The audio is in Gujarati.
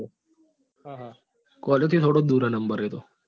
હા હા college થી થોડો જ દુર છે નંબર એ તો